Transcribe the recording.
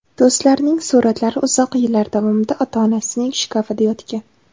Do‘stlarining suratlari uzoq yillar davomida ota-onasining shkafida yotgan.